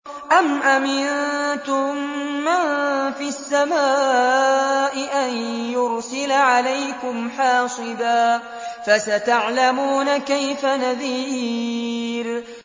أَمْ أَمِنتُم مَّن فِي السَّمَاءِ أَن يُرْسِلَ عَلَيْكُمْ حَاصِبًا ۖ فَسَتَعْلَمُونَ كَيْفَ نَذِيرِ